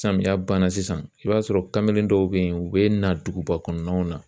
Samiya banna sisan i b'a sɔrɔ kamalen dɔw be yen u bina duguba kɔnɔnaw na